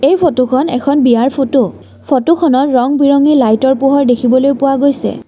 এই ফটোখন এখন বিয়াৰ ফটো ফটোখনৰ ৰং বিৰঙি লাইটতৰ পোহৰ দেখিবলৈ পোৱা গৈছে।